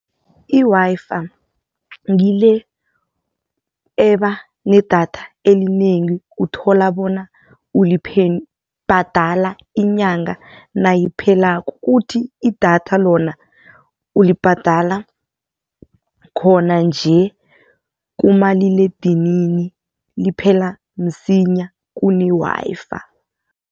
I-Wi-Fi ngile eba nedatha elinengi uthola bona bhadala inyanga nayiphelako, kuthi idatha lona ulibhadala khona nje kumaliledinini liphela msinya kune-Wi-Fi.